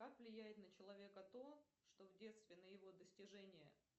как влияет на человека то что в детстве на его достижения